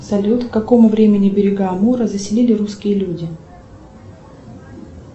салют к какому времени берега амура заселили русские люди